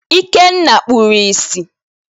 Ikenna kpuru ìsì.